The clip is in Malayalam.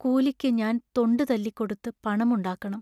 കൂലിക്കു ഞാൻ തൊണ്ടു തല്ലിക്കൊടുത്തു പണം ഉണ്ടാക്കണം.